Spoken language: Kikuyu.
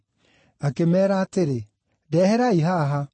Akĩmeera atĩrĩ, “Ndeherai haha.”